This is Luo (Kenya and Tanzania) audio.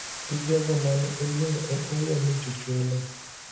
Gi jogo ma ne oluongo en owuon ni jochung` ne